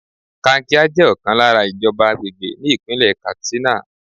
Kankia jẹ́ ọ̀kan lára ìjọba àgbègbè ní Ìpínlẹ̀ Katsina.